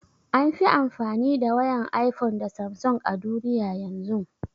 An fi amfani da wayan iphone da samsung a duniya yanzun